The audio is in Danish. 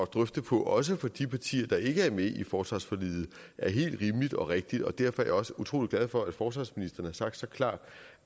drøfte på også for de partier der ikke er med i forsvarsforliget er helt rimeligt og rigtigt og derfor er jeg også utrolig glad for at forsvarsministeren har sagt så klart